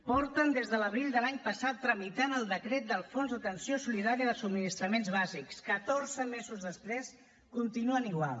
porten des de l’abril de l’any passat tramitant el decret del fons d’atenció solidària de subministraments bàsics catorze mesos després continuen igual